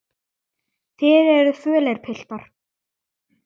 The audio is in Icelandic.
Þið eruð fölir, piltar.